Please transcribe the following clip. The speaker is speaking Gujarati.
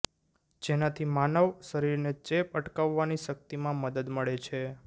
જેનાથી માનવ શરીરને ચેપ અટકાવવાની શક્તિમાં મદદ મળે છે